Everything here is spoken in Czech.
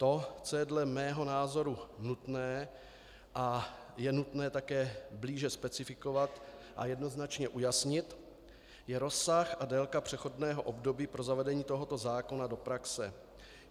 To, co je dle mého názoru nutné a je nutné také blíže specifikovat a jednoznačně ujasnit, je rozsah a délka přechodného období pro zavedení tohoto zákona do praxe.